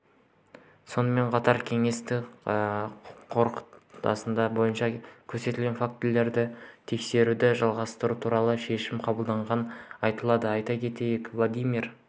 сонымен қатар кеңестің қорытындысы бойынша көрсетілген фактілерді тексеруді жалғастыру туралы шешім қабылданғаны айтылады айта кетейік владимир